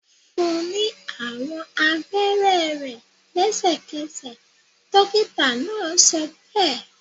Fún ní àwọn abẹrẹ rẹ lẹsẹkẹsẹ! dokita náà sọbe